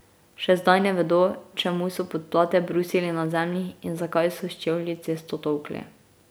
Še zdaj ne vejo, čemu so podplate brusili na zemlji in zakaj so s čevlji cesto tolkli.